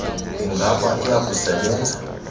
ingaba iya kusebenza